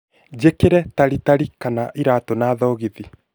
njikire taritari kana iraatu na thogithi